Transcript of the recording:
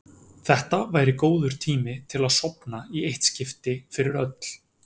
Þetta væri góður tími til að sofna í eitt skipti fyrir öll.